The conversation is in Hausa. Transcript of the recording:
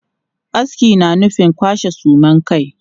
Aski na nufin kwashe suman kai.